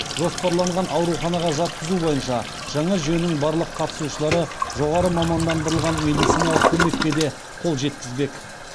жоспарланған ауруханаға жатқызу бойынша жаңа жүйенің барлық қатысушылары жоғары мамандандырылған медициналық көмекке де қол жеткізбек